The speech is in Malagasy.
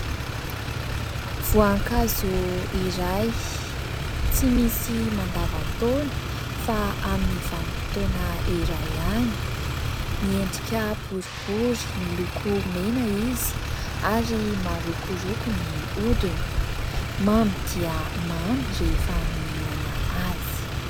Voankazo iray tsy misy mandavan-taona fa amin'ny vanim-potoana iray ihany, miendrika boribory miloko mena izy ary marokoroko ny hodiny ; mamy dia mamy rehefa mihinana azy.